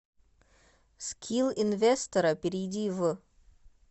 скилл инвестерро перейди в